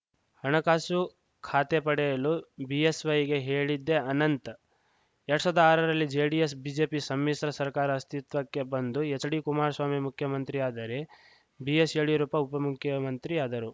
ಹಣಕಾಸು ಖಾತೆ ಪಡೆಯಲು ಬಿಎಸ್‌ವೈಗೆ ಹೇಳಿದ್ದೇ ಅನಂತ್‌ ಎರಡ್ ಸಾವಿರದ ಆರರಲ್ಲಿ ಜೆಡಿಎಸ್‌ ಬಿಜೆಪಿ ಸಮ್ಮಿಶ್ರ ಸರ್ಕಾರ ಅಸ್ತಿತ್ವಕ್ಕೆ ಬಂದು ಎಚ್‌ಡಿ ಕುಮಾರಸ್ವಾಮಿ ಮುಖ್ಯಮಂತ್ರಿಯಾದರೆ ಬಿಎಸ್‌ ಯಡಿಯೂರಪ್ಪ ಉಪಮುಖ್ಯಮಂತ್ರಿಯಾದರು